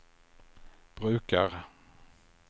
brukar